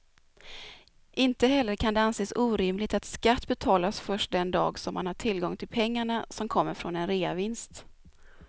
Inte heller kan det anses orimligt att skatt betalas först den dag som man har tillgång till pengarna som kommer från en reavinst.